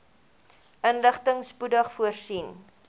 inligting spoedig voorsien